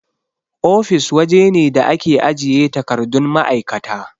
Ofis waje ne da ake ajiye takardun ma'aikata.